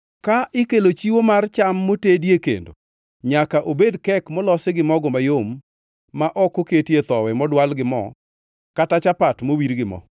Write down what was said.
Ka ikelo chiwo mar cham motedie kendo, nyaka obed kek molosi gi mogo mayom ma ok oketie thowi modwal gi mo kata chapat mowir gi mo.